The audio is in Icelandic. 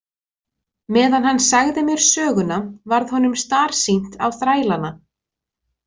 Meðan hann sagði mér söguna varð honum starsýnt á þrælana.